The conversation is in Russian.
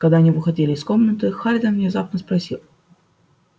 когда они выходили из комнаты хардин внезапно спросил